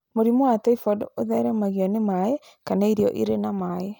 Mũrimũ wa typhoid ũtheremagio nĩ maĩ kana irio irĩ na mai.